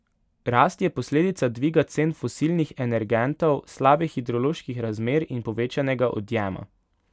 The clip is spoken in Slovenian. Rast je posledica dviga cen fosilnih energentov, slabih hidroloških razmer in povečanega odjema.